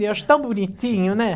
Eu acho tão bonitinho, né?